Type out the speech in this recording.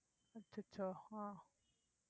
அச்சச்சோ ஹான்